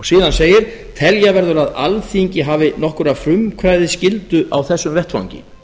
síðan segir telja verður að alþingi hafi nokkra frumkvæðisskyldu á þessum vettvangi